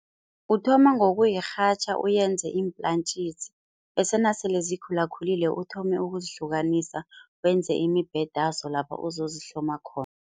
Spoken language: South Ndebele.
Uthoma ngokuyirhatjha uyenze iimplantjisi bese nasele zikhulakhulile uthome ukuzihlukanisa wenze imibhedazo lapha uzozihloma khona.